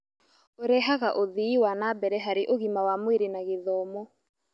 Ũrehaga ũthii wa na mbere harĩ ũgima wa mwĩrĩ na gĩthomo.